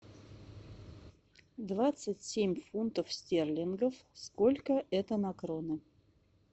двадцать семь фунтов стерлингов сколько это на кроны